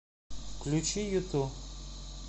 включи юту